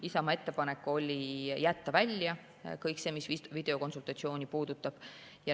Isamaa ettepanek oli jätta välja kõik see, mis videokonsultatsiooni puudutab.